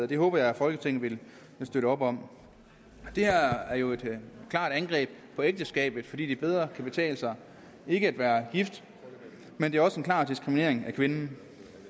det håber jeg at folketinget vil støtte op om det her er jo et klart angreb på ægteskabet fordi det bedre kan betale sig ikke at være gift men det er også en klar diskriminering af kvinden